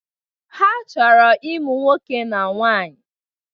Ha chọrọ ịmụ nwoke na nwaanyi.